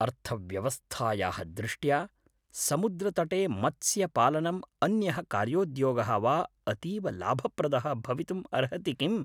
अर्थव्यवस्थायाः दृष्ट्या, समुद्रतटे मत्स्यपालनम् अन्यः कार्योद्योगः वा अतीव लाभप्रदः भवितुम् अर्हति, किम्?